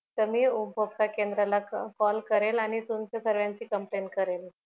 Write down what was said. त मी उप प केंद्राला कॉल करेल आणि तुमची सर्वांची complaint करेल